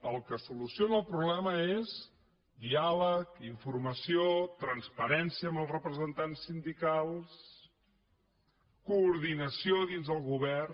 el que soluciona el problema és diàleg informació transparència amb els representants sindicals coordinació dins el govern